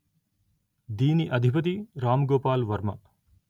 దీని అధిపతి రామ్ గోపాల్ వర్మ